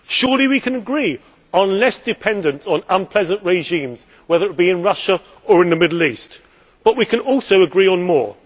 Surely we can agree on less dependence on unpleasant regimes, whether in Russia or in the Middle East. But we can also agree on more.